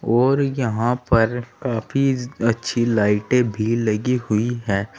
और यहां पर काफी अच्छी लाइटे भी लगी हुई है।